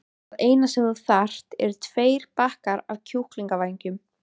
Það eina sem þú þarft eru tveir bakkar af kjúklingavængjum.